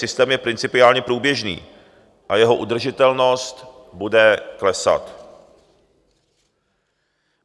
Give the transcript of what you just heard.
Systém je principiálně průběžný a jeho udržitelnost bude klesat.